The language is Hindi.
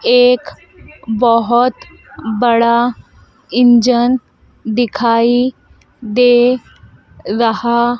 एक बहुत बड़ा इंजन दिखाई दे रहा--